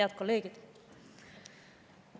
Head kolleegid!